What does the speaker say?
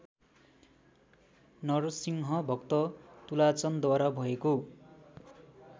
नरसिंहभक्त तुलाचनद्वारा भएको